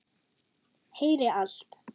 Heyri allt.